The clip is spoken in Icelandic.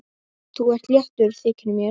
Þú ert léttur, þykir mér!